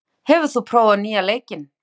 Amor, hefur þú prófað nýja leikinn?